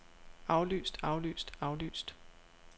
aflyst aflyst aflyst